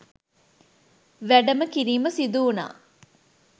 වැඩම කිරීම සිදුවුණා.